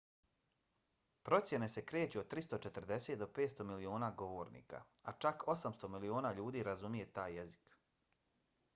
procjene se kreću od 340 do 500 miliona govornika a čak 800 miliona ljudi razumije taj jezik